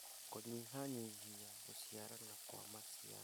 Kũnyihanyihia gũciarana Kwa maciaro